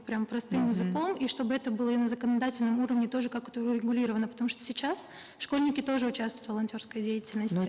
прямо простым языком и чтобы это было и на законодательном уровне тоже как то урегулировано потому что сейчас школьники тоже участвуют в волонтерской деятельности